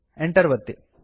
Enter ಒತ್ತಿ